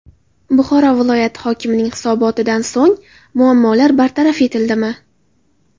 Buxoro viloyati hokimining hisobotidan so‘ng muammolar bartaraf etildimi?.